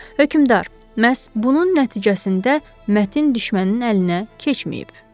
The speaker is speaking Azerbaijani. Hökmdar, məhz bunun nəticəsində mətin düşmənin əlinə keçməyib.